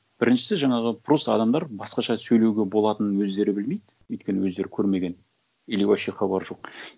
біріншісі жаңағы просто адамдар басқаша сөйлеуге болатынын өздері білмейді өйткені өздері көрмеген или вообще хабары жоқ